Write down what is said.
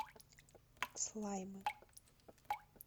слаймы